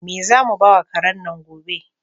Me zamu bawa karen nan gobe?